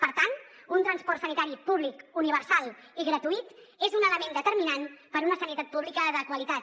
per tant un transport sanitari públic universal i gratuït és un element determinant per a una sanitat pública de qualitat